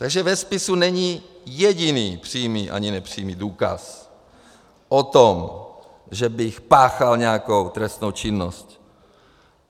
Takže ve spise není jediný přímý ani nepřímý důkaz o tom, že bych páchal nějakou trestnou činnost.